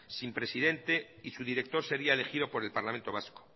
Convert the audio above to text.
sin presidente y su director sería elegido por el parlamento vasco